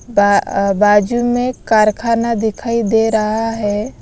बाजू में कारखाना दिखाई दे रहा है।